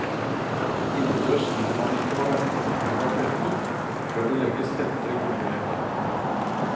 Innendørs gidder man ikke å vente til gulvet har tørket før det legges tette gulvbelegg.